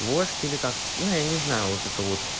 вождь или как ну я не знаю вот это вот